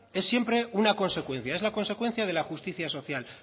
es siempre una consecuencia es la consecuencia de la justicia social